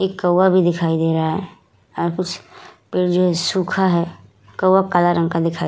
एक कौवा भी दिखाई दे रहा है और कुछ पेड़ जो है सूखा है कौवा काले रंग का दिखाई --